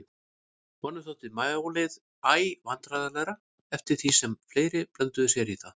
Honum þótti málið æ vandræðalegra eftir því sem fleiri blönduðu sér í það.